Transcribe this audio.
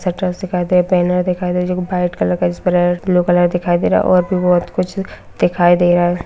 दिखाई दे बैनर दिखाई दे जो की वाइट कलर का ब्लू कलर दिखाई दे रहा है और भी बोहोत कुछ दिखाई दे रहा है।